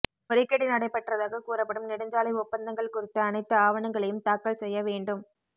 முறைகேடு நடைபெற்றதாக கூறப்படும் நெடுஞ்சாலை ஒப்பந்தங்கள் குறித்த அனைத்து ஆவணங்களையும் தாக்கல் செய்ய வேண்டும்